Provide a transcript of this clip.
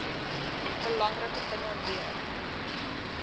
belangrike dinge leer